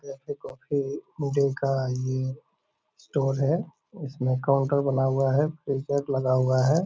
black tea coffee जिन का ये स्टोल है | इस में काउंटर बना हुआ है | एक टेंट लगा हुआ है |